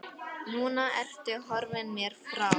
Núna ertu horfin mér frá.